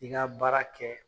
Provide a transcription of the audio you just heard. I ka baara kɛ